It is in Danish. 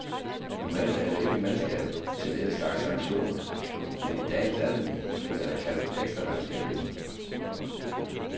Normalt er der ikke mandskab til den slags aktioner, men i dagens anledning er der kaldt ekstra mandskab ind.